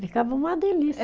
Ficava uma delícia.